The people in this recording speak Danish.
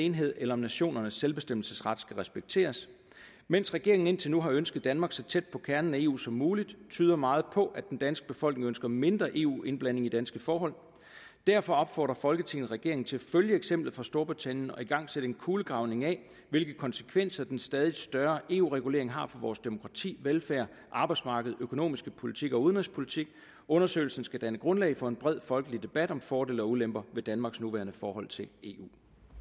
enhed eller om nationernes selvbestemmelsesret skal respekteres mens regeringen indtil nu har ønsket danmark så tæt på kernen af eu som muligt tyder meget på at den danske befolkning ønsker mindre eu indblanding i danske forhold derfor opfordrer folketinget regeringen til at følge eksemplet fra storbritannien og igangsætte en kulegravning af hvilke konsekvenser den stadig større eu regulering har for vores demokrati velfærd arbejdsmarked økonomiske politik og udenrigspolitik undersøgelsen skal danne grundlag for en bred folkelig debat om fordele og ulemper ved danmarks nuværende forhold til eu